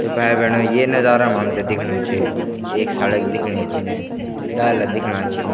तो भाई-भेणो ये नजारा म हमथे दिख्णु च एक सड़क दिखणी छिन इने डाला दिखणा छिन।